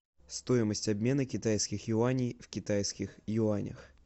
стоимость обмена китайских юаней в китайских юанях